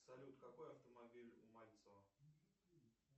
салют какой автомобиль у мальцева